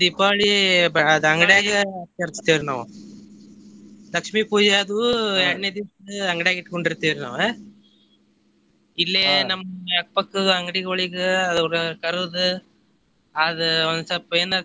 ದೀಪಾವಳಿ ಬ~ ಅದ ಅಂಗಡ್ಯಾಗ ಆಚರಿಸ್ತೇವ್ರಿ ನಾವ್ ಲಕ್ಷ್ಮೀ ಪೂಜೆ ಅದು ಎರ್ಡನೆ ದಿವಸ ಅಂಗಡ್ಯಾಗ ಇಟಕೊಂಡಿರ್ತೆವ್ರಿ ನಾವ ಇಲ್ಲೆ ನಮ್ಮ ಅಕ್ಕ ಪಕ್ಕದ ಅಂಗಡಿಗೊಳಿಗ ಅವ್ರ ಕರದಾ ಅದ ಒಂದ ಸ್ವಲ್ಪ ಏನಾರ.